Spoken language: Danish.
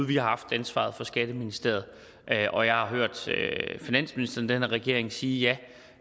vi har haft ansvaret for skatteministeriet og jeg har hørt finansministeren i den her regering sige